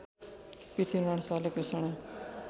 पृथ्वीनारायण शाहले घोषणा